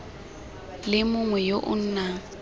le mongwe yo o nang